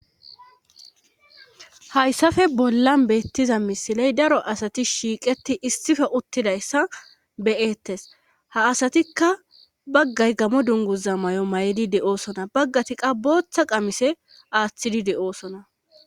Hayssafe bollan beettiza misiley daro asati shiiqeti issife uttidayssa beyettes ha asatikka baggay gamo dunguza may'o may7edi de'oosona baggati qabotha qamise aaththidi de'oosona.